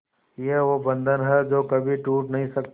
ये वो बंधन है जो कभी टूट नही सकता